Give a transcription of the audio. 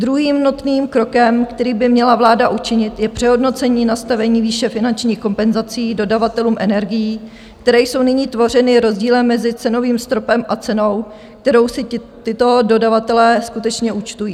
Druhým nutným krokem, který by měla vláda učinit, je přehodnocení nastavení výše finančních kompenzací dodavatelům energií, které jsou nyní tvořeny rozdílem mezi cenovým stropem a cenou, kterou si tito dodavatelé skutečně účtují.